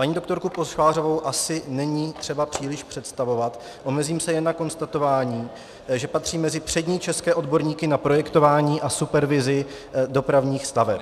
Paní doktoru Pošvářovou asi není třeba příliš představovat, omezím se jen na konstatování, že patří mezi přední české odborníky na projektování a supervizi dopravních staveb.